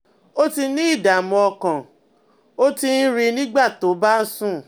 O ti ní ìdààmú ọkàn, o ti ń rìn nígbà tó o bá ń sùn